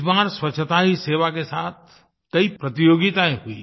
इस बार स्वच्छता ही सेवा के साथ कई प्रतियोगितायें हुईं